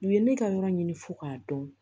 U ye ne ka yɔrɔ ɲini fo k'a dɔn